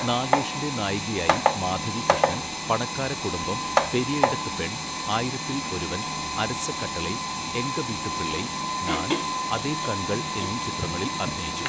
നാഗേഷിൻ്റെ നായികയായി മാധവി കൃഷ്ണൻ, 'പണക്കാര കുടുംബം', 'പെരിയ ഇടത്ത് പെൺ', 'ആയിരത്തിൽ ഒരുവൻ', 'അരസ കട്ടളൈ', 'എങ്ക വീട്ടുപിള്ളൈ', 'നാൻ', 'അതേ കൺകൾ' എന്നീ ചിത്രങ്ങളിൽ അഭിനയിച്ചു.